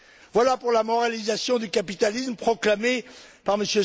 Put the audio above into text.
Voilà pour la moralisation du capitalisme proclamée par M.